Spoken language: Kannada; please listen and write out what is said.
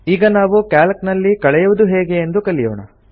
ಈಗ ನಾವು ಕ್ಯಾಲ್ಕ್ ನಲ್ಲಿ ಕಳೆಯುವುದು ಹೇಗೆ ಎಂದು ಕಲಿಯೋಣ